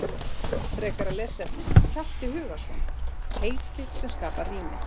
Frekara lesefni: Hjalti Hugason, Heiti sem skapa rými.